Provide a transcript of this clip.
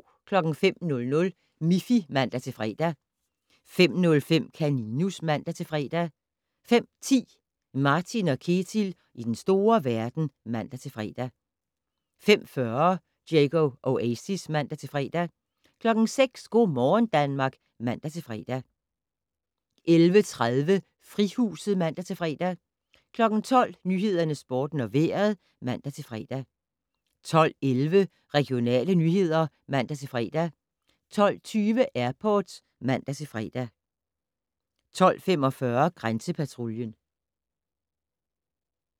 05:00: Miffy (man-fre) 05:05: Kaninus (man-fre) 05:10: Martin & Ketil i den store verden (man-fre) 05:40: Diego Oasis (man-fre) 06:00: Go' morgen Danmark (man-fre) 11:30: Frihuset (man-fre) 12:00: Nyhederne, Sporten og Vejret (man-fre) 12:11: Regionale nyheder (man-fre) 12:20: Airport (man-fre) 12:45: Grænsepatruljen